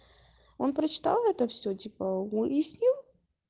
он прочитал это все типа уяснил